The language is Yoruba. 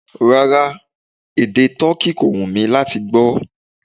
Rárá, èdè toki kò wù mí láti gbó.